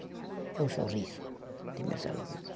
É o sorriso de meus alunos.